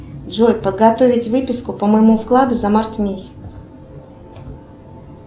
джой подготовить выписку по моему вкладу за март месяц